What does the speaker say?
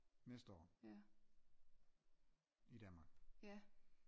Næste år i Danmark